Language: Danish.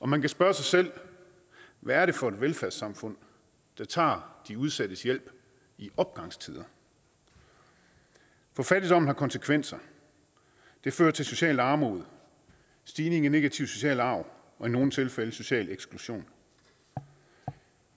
man kan spørge sig selv hvad er det for et velfærdssamfund der tager de udsattes hjælp i opgangstider for fattigdommen har konsekvenser det fører til socialt armod stigning i negativ social arv og i nogle tilfælde social eksklusion